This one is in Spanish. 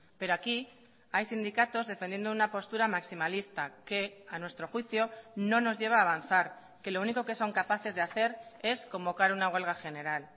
pero aquí hay sindicatos defendiendo una postura maximalista que a nuestro juicio no nos lleva a avanzar que lo único que son capaces de hacer es convocar una huelga general